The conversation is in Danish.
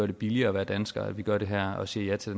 det billigere at være dansker at vi gør det her og siger ja til